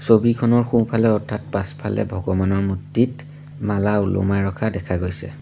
ছবিখনৰ সোঁফালে অৰ্থাৎ পাছফালে ভগৱানৰ মূৰ্ত্তিত মালা ওলমাই ৰখা দেখা গৈছে।